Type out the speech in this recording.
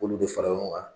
K'olu bɛ fara ɲɔgɔn kan